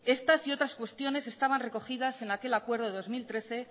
estas y otras cuestiones estaban recogidas en aquel acuerdo de dos mil trece